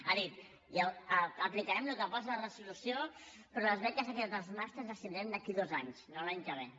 ha dit aplicarem el que posa a la resolució però les beques equitat dels màsters les tindrem d’aquí a dos anys no l’any que ve